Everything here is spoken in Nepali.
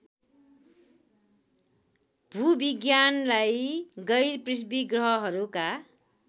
भूविज्ञानलाई गैरपृथ्वी ग्रहहरूका